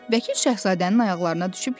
Vəkil Şahzadənin ayaqlarına düşüb yalvardı.